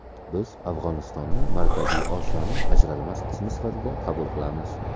Biz Afg‘onistonni Markaziy Osiyoning ajralmas qismi sifatida qabul qilamiz.